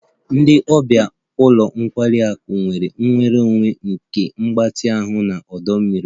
Ndị ọbịa ụlọ nkwari akụ nwere nnwere onwe nke mgbatị ahụ na ọdọ mmiri